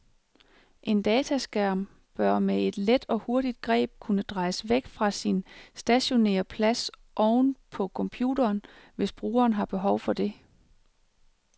En dataskærm bør med et let og hurtigt greb kunne drejes væk fra sin stationære plads oven på computeren, hvis brugeren har behov for det.